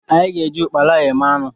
Anyị ga-eji ụkpala eme anụ.